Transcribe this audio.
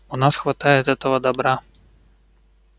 у нас хватает этого добра